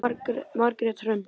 Margrét Hrönn.